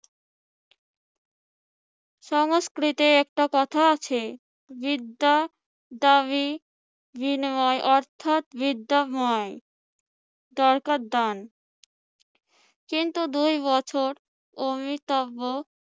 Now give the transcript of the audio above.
সংস্কৃতে একটা কথা আছে, বিদ্যা দাবী বিনিময় অর্থাৎ বিদ্যাময় দরকার দান কিন্তু দুই বছর অমৃতাব্য